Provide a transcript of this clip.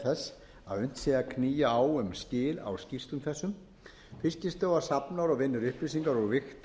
þess að en sé að knýja á um skil á skýrslum þessum fiskistofa safnar vinnur upplýsingar og vigtar úr